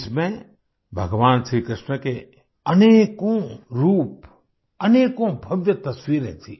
इसमें भगवान श्री कृष्ण के अनेकों रूप अनेकों भव्य तस्वीरें थी